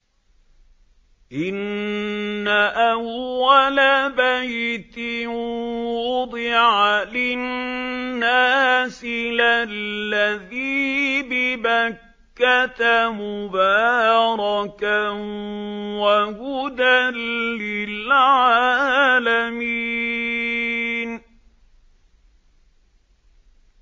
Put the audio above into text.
إِنَّ أَوَّلَ بَيْتٍ وُضِعَ لِلنَّاسِ لَلَّذِي بِبَكَّةَ مُبَارَكًا وَهُدًى لِّلْعَالَمِينَ